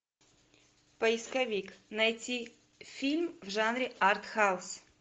поисковик найти фильм в жанре артхаус